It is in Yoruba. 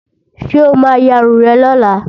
Ṣé o ma yarun rẹ̀ lọ́la?